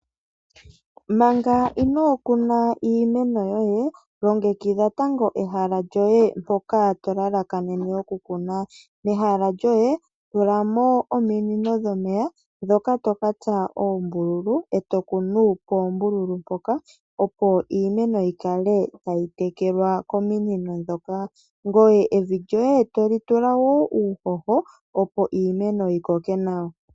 Manga inokuna iimeno yoye longekidha tango ehala lyoye mpoka to lalakanene okukuna. Mehala lyoye tulamo ominino dhomeya ndhoka to katsa oombululu opo iimeno yikale tayi tekelwa kominino ndhoka ,ngoye evi lyoye toli tula uuhoho opo iimeno yi koke nawa.